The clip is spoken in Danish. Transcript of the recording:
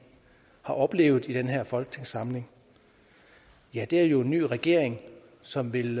har oplevet i den her folketingssamling ja det er jo en ny regering som vil